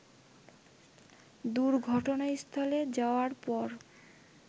দুর্ঘটনাস্থলে যাওয়ার পর